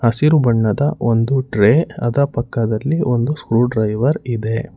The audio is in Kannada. ಹಸಿರು ಬಣ್ಣದ ಒಂದು ಟ್ರೇ ಅದರ ಪಕ್ಕದಲ್ಲಿ ಒಂದು ಸ್ಕ್ರೂ ಡ್ರೈವರ್ ಇದೆ.